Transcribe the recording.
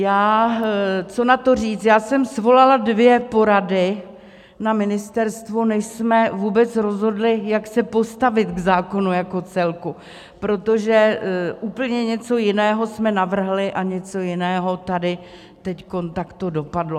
Já jsem svolala dvě porady na ministerstvu, než jsme vůbec rozhodli, jak se postavit k zákonu jako celku, protože úplně něco jiného jsme navrhli a něco jiného tady teď takto dopadlo.